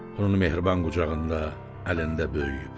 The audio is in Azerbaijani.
Onun mehriban qucağında, əlində böyüyüb.